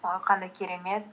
ой қандай керемет